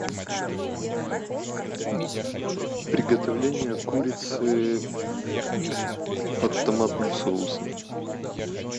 приготовление курицы под томатным соусом